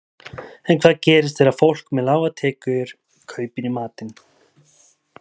En hvað gerist þegar fólk með lágar tekjur kaupir í matinn?